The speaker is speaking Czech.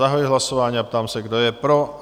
Zahajuji hlasování a ptám se, kdo je pro?